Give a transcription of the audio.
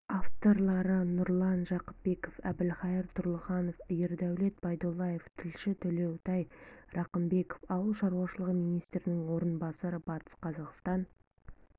авторлары нұрлан жақыпбеков әлхайдар тұрлыханов ердәулет байдуллаев тілші төлеутай рақымбеков ауыл шаруашылығы министрінің орынбасары батыс қазақстан